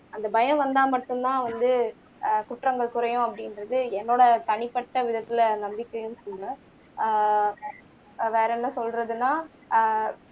அந்த பயம் வந்தா மட்டும்தான் வந்து ஆஹ் குற்றங்கள் குறையும் அப்படின்றது என்னோட தனிப்பட்ட விதத்துல நம்பிக்கையும் கூட ஆஹ் வேற என்ன சொல்றதுன்னா ஆஹ்